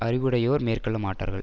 அறிவுடையோர் மேற்கொள்ள மாட்டார்கள்